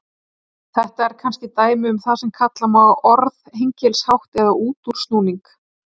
Þetta er kannski dæmi um það sem kalla má orðhengilshátt eða útúrsnúning.